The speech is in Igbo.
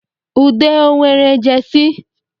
Ude ọ nwere Jesi?